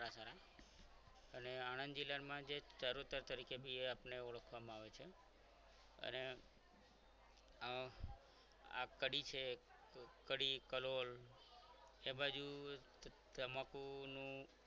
સારા અને આણંદ જિલ્લામાં ચરોતર તરીકે જાણીતા ઓળખવા માં આવે છે અને આ કડી છે એક કડી કલોલ એ બાજુ તમાકુનું